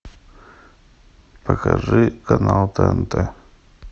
покажи канал тнт